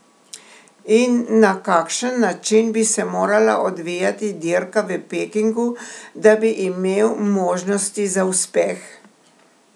In na kakšen način bi se morala odvijati dirka v Pekingu, da bi imel možnosti za uspeh?